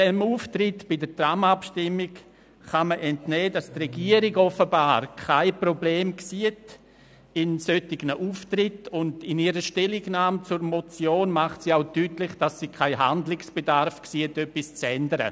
Dem Auftritt bei der Tram-Abstimmung kann man entnehmen, dass die Regierung offenbar kein Problem in solchen Auftritten sieht, und in ihrer Stellungnahme zur Motion macht sie auch deutlich, dass sie keinen Bedarf sieht, an ihrer Praxis etwas zu ändern.